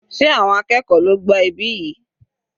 Sé àwọn akẹ́kọ̀ọ́ ló gbá ibí yìí?